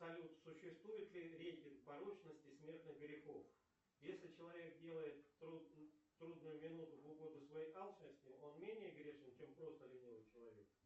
салют существует ли рейтинг порочности смертных грехов если человек делает в трудную минуту в угоду своей алчности он менее грешен чем просто ленивый человек